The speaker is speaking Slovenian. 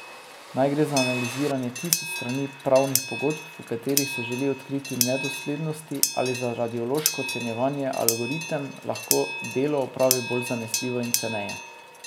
Naj gre za analiziranje tisoč strani pravnih pogodb, v katerih se želi odkriti nedoslednosti, ali za radiološko ocenjevanje, algoritem lahko delo opravi bolj zanesljivo in ceneje.